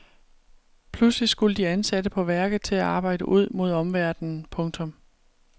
Pludselig skulle de ansatte på værket til at arbejde ud mod omverdenen. punktum